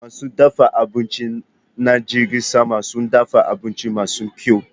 Masu dafa abinci na jirgin sama sun dafa abinci masu kyau.